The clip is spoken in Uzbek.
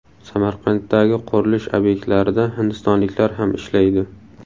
Samarqanddagi qurilish obyektlarida hindistonliklar ham ishlaydi.